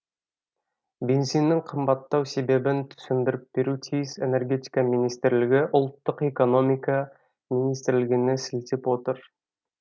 бензиннің қымбаттау себебін түсіндіріп беруі тиіс энергетика министрлігі ұлттық экономика министрлігіне сілтеп отыр